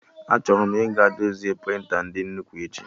Achọrọ m ịga dozie prịnta ndị nnukwu echi